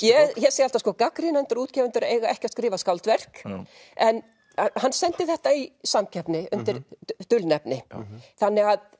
ég segi alltaf að gagnrýnendur og útgefendur eiga ekki að skrifa skáldverk en hann sendi þetta í samkeppni undir dulnefni þannig að